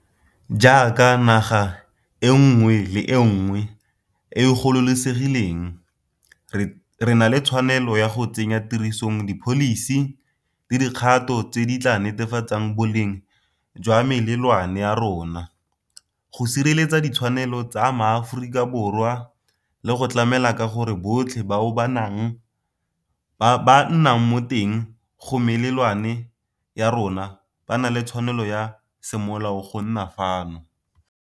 Jaaka naga e nngwe le e nngwe e e gololosegileng, re na le tshwanelo ya go tsenya tirisong dipholisi le dikgato tse di tla netefatsang boleng jwa melelwane ya rona, go sireletsa ditshwanelo tsa Maaforikaborwa le go tlamela ka gore botlhe bao ba nnang mo teng ga melelwane ya rona ba na le tshwanelo ya semolao go nna fano.